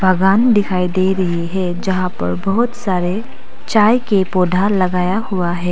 बागान दिखाई दे रही है जहां पर बहुत सारे चाय के पौधा लगाया हुआ है।